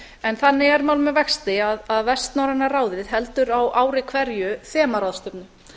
en þannig er mál með vexti að vestnorræna ráðið heldur á ári hverju þemaráðstefnu